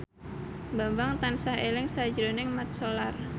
Bambang tansah eling sakjroning Mat Solar